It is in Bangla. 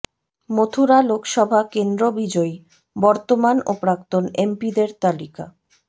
মথুরা লোকসভা কেন্দ্র বিজয়ী বর্তমান ও প্রাক্তন এমপিদের তালিকা